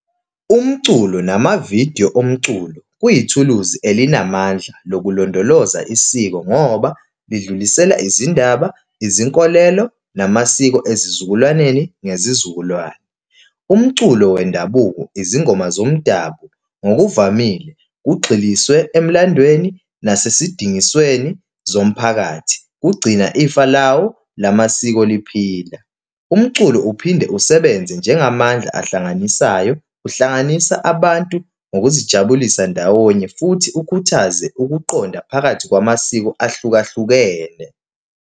Umculo namavidiyo omculo kuyithuluzi elinamandla lokulondoloza isiko, ngoba lidlulisele izindaba, izinkolelo, namasiko ezizukulwaneni ngezizukulwane. Umculo wendabuko, izingoma zomdabu, ngokuvamile kugxiliswe emlandweni nasesidingisweni zomphakathi, ukugcina ifa lawo lamasiko liphila. Umculo uphinde usebenze njengamandla ehlanganisayo. Uhlanganisa abantu ngokuzijabulisa ndawonye futhi ukhuthaze ukuqonda phakathi kwamasiko ahlukahlukene.